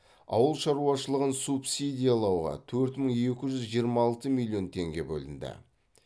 ауыл шаруашылығын субсидиялауға төрт мың екі жүз жиырма алты миллион теңге бөлінді